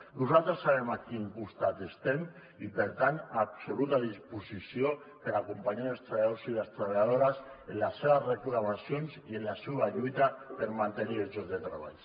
nosaltres sabem a quin costat estem i per tant absoluta disposició per acompanyar els treballadors i les treballadores en les seves reclamacions i en la seva lluita per mantenir els llocs de treball